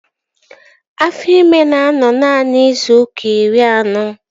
Afọ ịma na-anọ naanị izu ụka iri anọ